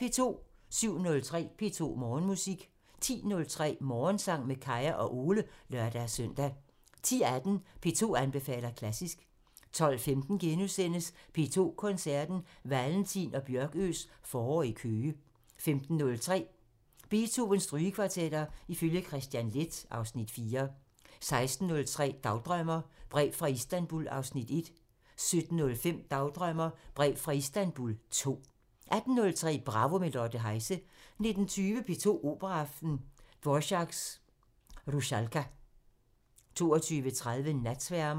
07:03: P2 Morgenmusik 10:03: Morgensang med Kaya og Ole (lør-søn) 10:18: P2 anbefaler klassisk 12:15: P2 Koncerten – Valentin og Bjørkøes forår i Køge * 15:03: Beethovens Strygekvartetter ifølge Kristian Leth (Afs. 4) 16:03: Dagdrømmer: Brev fra Istanbul 1 17:05: Dagdrømmer: Brev fra Istanbul 2 18:03: Bravo – med Lotte Heise 19:20: P2 Operaaften – Dvorak: Rusalka 22:30: Natsværmeren